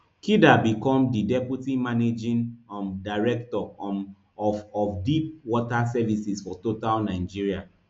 kida become di deputy managing um director um of of deep water services for total nigeria